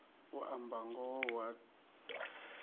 u amba ngoho hu a